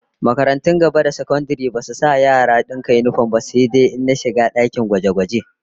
Makarantun gaba da sakandare duk basu taba bukatar dalibai su sanya yinifom ba, sai. dai rigunan shiga dakunan gwaje-gwaje